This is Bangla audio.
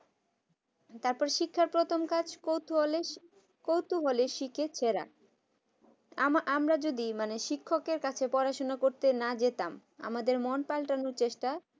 তারপরে শিক্ষার প্রথম কাজ কৌতুহলে কৌতূহলের শিখে ফেরা আম আমরা যদি মানে শিক্ষকের কাছে পড়াশোনা করতে না যেতাম আমাদের মন পাল্টানোর চেষ্টা